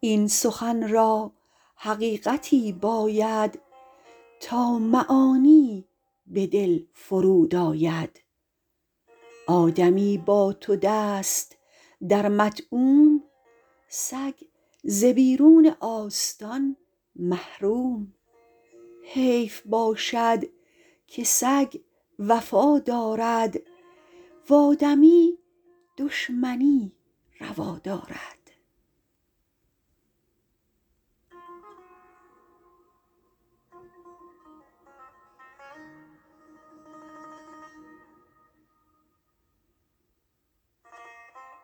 این سخن را حقیقتی باید تا معانی به دل فرود آید آدمی با تو دست در مطعوم سگ ز بیرون آستان محروم حیف باشد که سگ وفا دارد و آدمی دشمنی روا دارد